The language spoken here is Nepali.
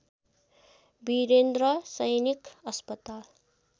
वीरेन्द्र सैनिक अस्पताल